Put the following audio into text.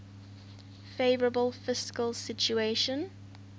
favourable fiscal situation